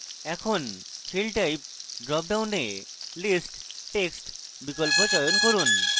এখন field type drop ডাউনে list text বিকল্প চয়ন করুন